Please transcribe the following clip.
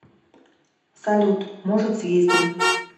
салют может съездим